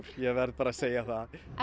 ég verð að segja það